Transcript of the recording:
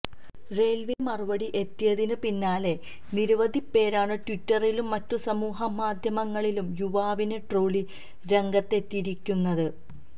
റെയില്വേയുടെ മറുപടി എത്തിയതിന് പിന്നാലെ നിരവധി പേരാണ് ട്വിറ്ററിലും മറ്റു സമൂഹ മാധ്യമങ്ങളിലും യുവാവിനെ ട്രോളി രംഗത്തെത്തിയിരിക്കുന്നത്